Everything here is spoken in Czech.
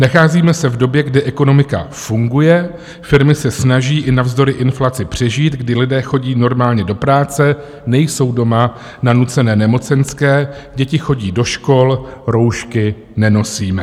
Nacházíme se v době, kdy ekonomika funguje, firmy se snaží i navzdory inflaci přežít, kdy lidé chodí normálně do práce, nejsou doma na nucené nemocenské, děti chodí do škol, roušky nenosíme.